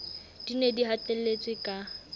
di ne di hatelletswe ka